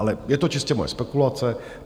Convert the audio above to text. Ale je to čistě moje spekulace.